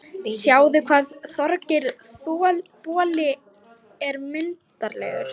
Sjáðu hvað Þorgeir boli er myndarlegur